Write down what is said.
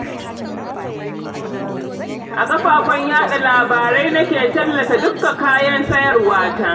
A kafafen yaɗa labarai nake tallata dukka kayan sayarwa ta